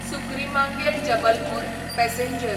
सुक्रिमांगेल Jabalpur passenger